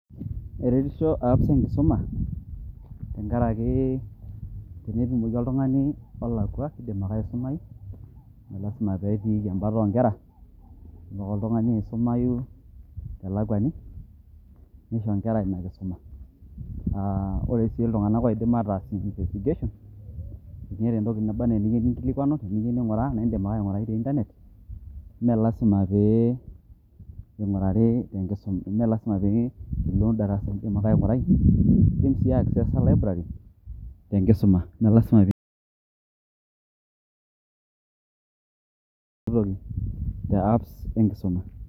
Eretisho apps cs] enkisuma, tenkaraki tenetumoki oltung'ani olakwa, keidim ake aisumayu. Me lasima petiiki ebata o nkera. Idim ake oltung'ani aisumayu telakwani, nisho inkera inakisuma. Ore si iltung'anak oidim ataas investigation, teneeta entoki naba enaa eniyieu ninkilikwanu, eniyieu ning'oraa, naidim ake aing'urai te Internet. Me lasima pe ing'urari te nkisuma, me lasima pe ilo darasa, idim ake aing'urai. Iidim si aekisesa library ,tenkisuma. Me lasima pe [] toki te apps enkisuma.